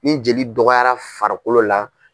Ni jeli dɔgɔyara farikolo la.